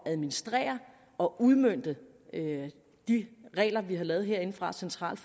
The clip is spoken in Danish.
at administrere og udmønte de regler vi har lavet herindefra centralt